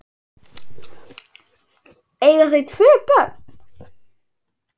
Eiga þau tvö börn.